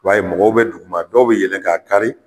I ba ye mɔgɔw bɛ duguma dɔw bi yɛlɛn k'a kari